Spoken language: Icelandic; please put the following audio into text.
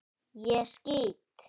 ÉG SKÝT!